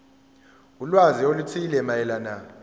ulwazi oluthile mayelana